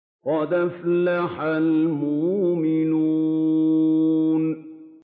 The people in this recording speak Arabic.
قَدْ أَفْلَحَ الْمُؤْمِنُونَ